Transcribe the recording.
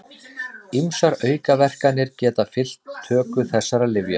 Ýmsar aukaverkanir geta fylgt töku þessara lyfja.